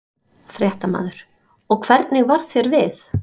Fréttamaður: Og hvernig varð þér við?